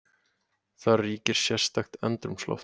Þar ríkir sérstakt andrúmsloft.